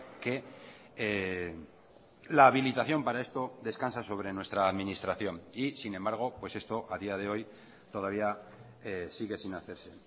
que la habilitación para esto descansa sobre nuestra administración y sin embargo pues esto a día de hoy todavía sigue sin hacerse